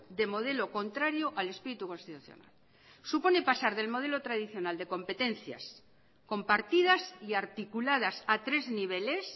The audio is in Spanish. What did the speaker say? de modelo contrario al espíritu constitucional supone pasar del modelo tradicional de competencias compartidas y articuladas a tres niveles